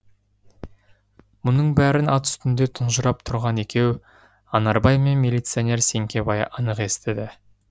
мұның бәрін ат үстінде тұнжырап тұрған екеу анарбай мен милиционер сеңкебай анық естіді